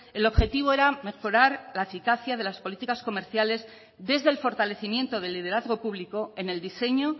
el objetivo era mejorar la eficacia de las políticas comerciales desde el fortalecimiento del liderazgo público en el diseño